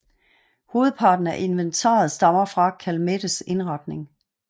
Hovedparten af inventaret stammer fra Calmettes indretning